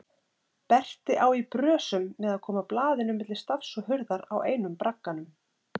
Berti á í brösum með að koma blaðinu milli stafs og hurðar á einum bragganum.